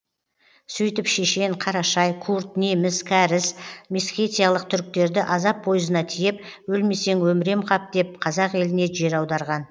сөйтіп шешен қарашай курд неміс кәріс месхетиялық түріктерді азап пойызына тиеп өлмесең өмірем қап деп қазақ еліне жер аударған